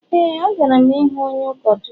Éè, agara m ịhụ onye ụkọchukwu